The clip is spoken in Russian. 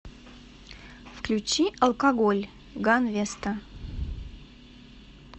включи алкоголь ганвеста